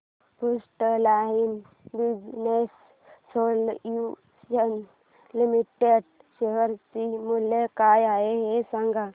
frontline Business Solutions Limited share चे मूल्य काय आहे हे सांगा